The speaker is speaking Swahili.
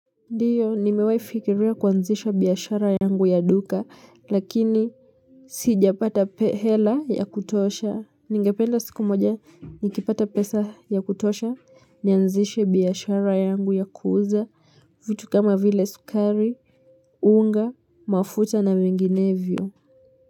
Ndiyo, nimewahifikiria kuanzisha biashara yangu ya duka, lakini siijapata hela ya kutosha. Ningependa siku moja, nikipata pesa ya kutosha, nianzishe biashara yangu ya kuuza, vitu kama vile sukari, unga, mafuta na minginevyo.